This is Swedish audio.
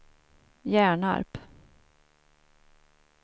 Hjärnarp